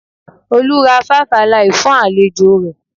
Olú ra five Alive fún àlejò rẹ̀